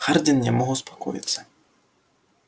хардин не мог успокоиться